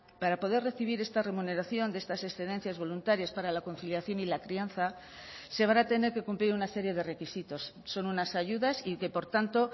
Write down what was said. para poder recibir esta remuneración de estas excedencias voluntarias para la conciliación y la crianza se van a tener que cumplir una serie de requisitos son unas ayudas y que por tanto